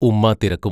ഉമ്മാ തിരക്കും.